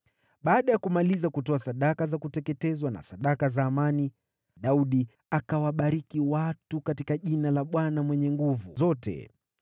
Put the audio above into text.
Baada ya kumaliza kutoa sadaka za kuteketezwa na sadaka za amani, Daudi akawabariki watu katika jina la Bwana Mwenye Nguvu Zote.